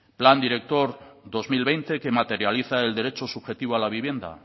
plan director dos mil veinte que materializa el derecho subjetivo a la vivienda